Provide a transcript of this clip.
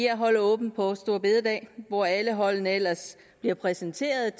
at holde åbent på store bededag hvor alle holdene ellers bliver præsenteret